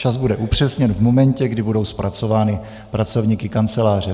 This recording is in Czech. Čas bude upřesněn v momentě, kdy budou zpracovány pracovníky Kanceláře.